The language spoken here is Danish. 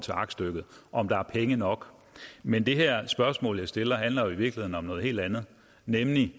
til aktstykket om der er penge nok men det her spørgsmål jeg stiller handler jo i virkeligheden om noget helt andet nemlig